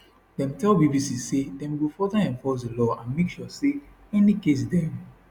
dem tell bbc say dem go further enforce di law and make sure say any case dem